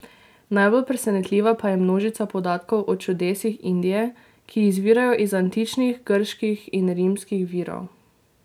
Najbolj presenetljiva pa je množica podatkov o čudesih Indije, ki izvirajo iz antičnih grških in rimskih virov.